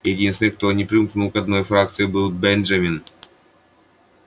единственный кто не примкнул ни к одной фракции был бенджамин